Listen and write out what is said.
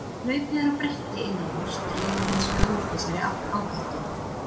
þegar hlaupið er á bretti innan húss dregur hins vegar úr þessari áhættu